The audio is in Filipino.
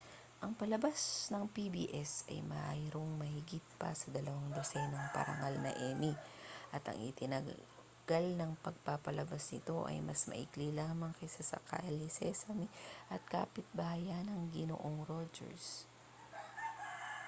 ang palabas ng pbs ay mayroong mahigit pa sa dalawang dosenang parangal na emmy at ang itinagal ng pagpapalabas nito ay mas maikli lamang kaysa sa kalye sesame at kapitbahayan ni ginoong rogers